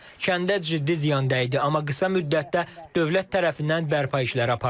Kəndə ciddi ziyan dəydi, amma qısa müddətdə dövlət tərəfindən bərpa işləri aparıldı.